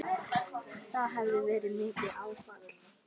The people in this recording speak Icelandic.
Það hafi verið mikið áfall.